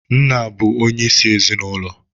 Nna bụ onye isi n'ezinụlọ.